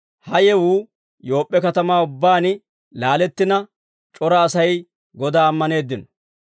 Ha yewuu Yoop'p'e katamaa ubbaan laalettina c'ora Asay Godaa ammaneeddino.